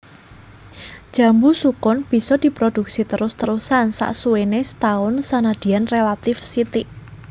Jambu sukun bisa prodhuksi terus terusan saksuwéné setaun senadyan rélatif sithik